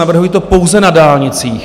Navrhuji to pouze na dálnicích.